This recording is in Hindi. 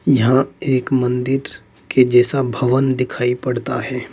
यहां एक मंदिर के जैसा भवन दिखाई पड़ता है।